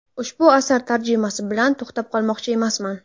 Ushbu asar tarjimasi bilan to‘xtab qolmoqchi emasman.